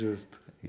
Justo.